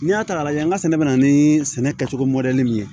N'i y'a ta k'a lajɛ an ka sɛnɛ bɛ na ni sɛnɛ kɛcogo mɔdɛli min ye